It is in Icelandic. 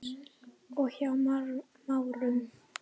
og Hjá Márum.